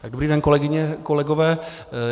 Dobrý den, kolegyně, kolegové.